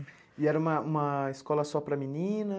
E era uma uma escola só para meninas?